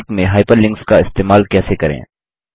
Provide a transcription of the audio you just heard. Calc में hyperlinks का इस्तेमाल कैसे करें